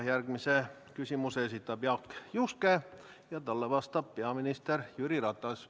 Järgmise küsimuse esitab Jaak Juske ja talle vastab peaminister Jüri Ratas.